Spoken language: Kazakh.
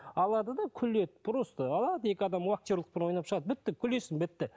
алады да күледі просто алады екі адам актерлікпен ойнап шығады бітті күлесің бітті